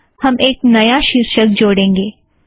यहाँ हम एक नया शीर्षक जोड़ेंगें